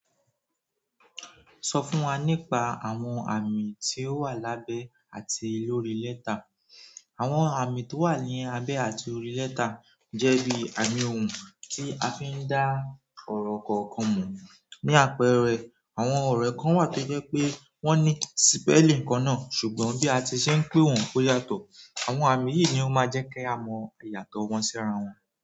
Sọ fún wa nípa àwọn àmì tí ó wà lábẹ́ àti lórí lẹ́tà. Àwọn àmì tó wà ní abẹ́ àti orí lẹ́tà jẹ́ bí àmì ohùn tí a fi ń dá ọ̀rọ̀ kọ̀ọ̀kan mọ̀. Ni àpẹẹrẹ àwọn ọ̀rọ̀ kan wà tó jẹ́ pé wọ́n ní spelling kan náà ṣùgbọ́n bí a ti ṣe ń pe wọn ó yàtọ̀. Àwọn àmì yìí ni ó máa jẹ́ kí a mọ ìyàtọ̀ wọn sí ara wọn.